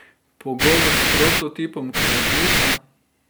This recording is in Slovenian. Pogovor s prototipom kreativca.